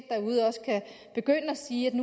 begynde at sige at det